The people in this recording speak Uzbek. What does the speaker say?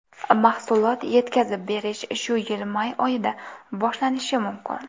Mahsulot yetkazib berish shu yil may oyida boshlanishi mumkin.